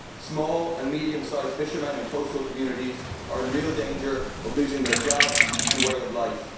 Small and medium sized fishermen in coastal communities are in real danger of losing their jobs and way of life.